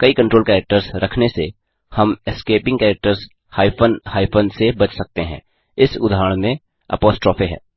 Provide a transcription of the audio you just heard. कई control characters रखने से हम एस्केपिंग कैरेक्टर्स हाइफन हाइफन से बच सकते हैं इस उदहारण में अपोस्ट्रोफ है